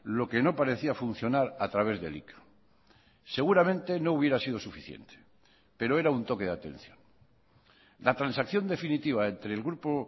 lo que no parecía funcionar a través de elika seguramente no hubiera sido suficiente pero era un toque de atención la transacción definitiva entre el grupo